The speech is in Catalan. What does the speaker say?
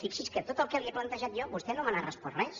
fixi’s que de tot el que li he plantejat jo vostè no m’ha respost res